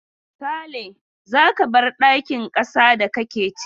Sale, za ka bar dakin kasa da kake ciki!